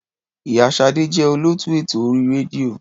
Ì̀yá Ṣadé jẹ́ olóòtú ètò orí rédíò.